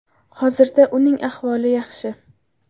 Hozirda uning ahvoli yaxshi.